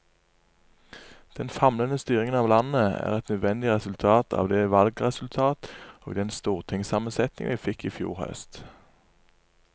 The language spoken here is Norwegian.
Den famlende styringen av landet er et nødvendig resultat av det valgresultat og den stortingssammensetning vi fikk i fjor høst.